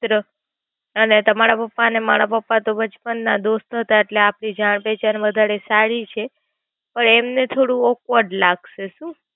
એ તો અને તમારા પપ્પા અને મારા પપ્પા તો બચપન ના દોસ્ત હતા એટલે આપડી જાણ પહચાન માં વધારે સારી છે. પણ એમને થોડું Awkward લાગશે શું.